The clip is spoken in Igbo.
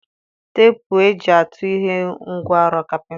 Teepụ e ji atụ ihe bụ ngwa ọrụ kapịnta.